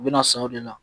U bɛna san o de la